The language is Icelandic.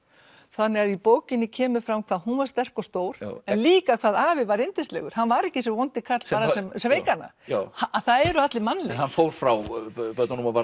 þannig að í bókinni kemur fram hvað hún var sterk og stór en líka hvað afi var yndislegur hann var ekki þessi vondi karl sem sveik hana það eru allir mannlegir hann fór frá börnunum